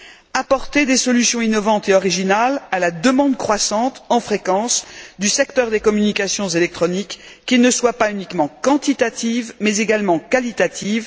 Mais aussi apporter des solutions innovantes et originales à la demande croissante en fréquence du secteur des communications électroniques, qui ne soient pas uniquement quantitatives mais également qualitatives.